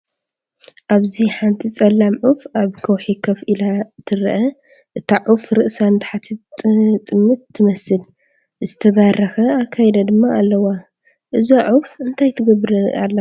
ኣብዚ ሓንቲ ጸላም ዑፍ ኣብ ከውሒ ኮፍ ኢላ ትርአ። እታ ዑፍ ርእሳ ንታሕቲ ትጥምት ትመስል፡ ዝተባረኸ ኣካይዳ ድማ ኣለዋ። እዛ ዑፍ እንታይ ትገብር ኣላ ትብሉ?